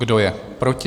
Kdo je proti?